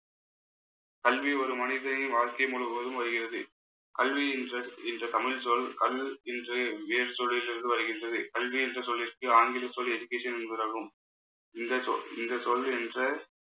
கல்வி, ஒரு மனிதனின் வாழ்க்கை முழுவதும் வருகிறது. கல்வி என்ற என்ற தமிழ்ச்சொல் கல் என்ற வேறு சொல்லில் இருந்து வருகின்றது. கல்வி என்ற சொல்லிற்கு ஆங்கில சொல் education என்பதாகும். இந்த சொ~ இந்த சொல் என்ற